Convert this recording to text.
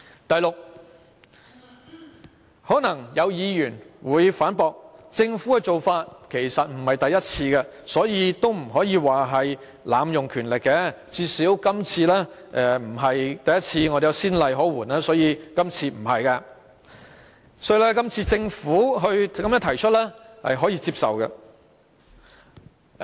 第六，可能有議員會反駁，說政府的做法其實並非第一次，所以不能說是濫用權力，最少今次不是第一次，既有先例可援，所以今次不是濫用權力，是可以接受的。